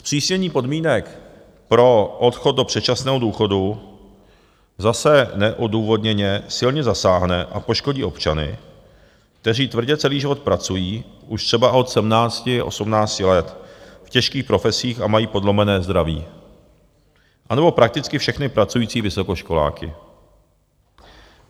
Zpřísnění podmínek pro odchod do předčasného důchodu zase neodůvodněně silně zasáhne a poškodí občany, kteří tvrdě celý život pracují už třeba od 17, 18 let, v těžkých profesích a mají podlomené zdraví, anebo prakticky všechny pracující vysokoškoláky.